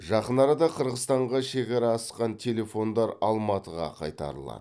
жақын арада қырғызстанға шекара асқан телефондар алматыға қайтарылады